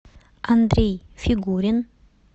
андрей фигурин